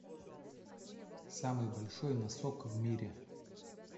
самый большой носок в мире